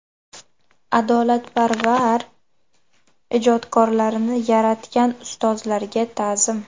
Adolatparvar ijodkorlarni yaratgan ustozlarga ta’zim.